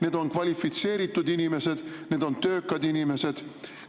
Need on kvalifitseeritud inimesed, need on töökad inimesed.